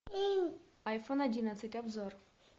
айфон одиннадцать обзор